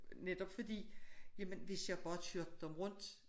Netop fordi jamen hvis jeg bare kørte ham rundt